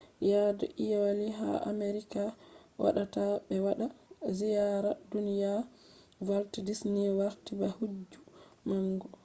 yadu iyalu ha amerika waɗata ɓe waɗa ziyara duniya walt disni warti ba hijju manga